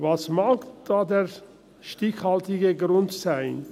Was mag der stichhaltige Grund sein?